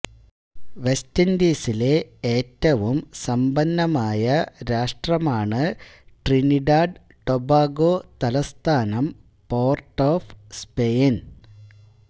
west ഇൻഡീസിലെ ഏറ്റവും സമ്പന്നമായ രാഷ്ട്രമാണ് ട്രിനിഡാഡ്ടൊബാഗോ തലസ്ഥാനം പോർട്ട് ഒഫ് സ്പെയിൻ